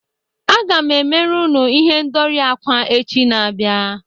Aga m emere unu ihendori akwa echi na-abịa